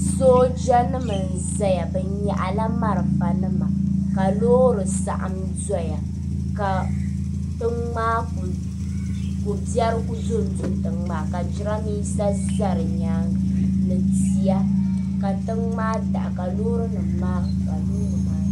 Soojanima n-zaya bɛ nyaɣila malifanima ka loori saɣim dɔya ka ko' biɛri ku dondo tiŋa tiŋa ka jidambiisa za di nyaaŋga ni tihi ka tiŋa maa daɣi.